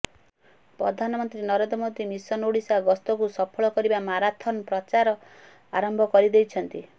ପ୍ରଧାନମନ୍ତ୍ରୀ ନରେନ୍ଦ୍ର ମୋଦି ମିଶନ ଓଡିଶା ଗସ୍ତକୁ ସଫଳ କରିବା ମାରାଥନ୍ ପ୍ରଚାର ଆରମ୍ଭ କରିଦେଇଛନ୍ତି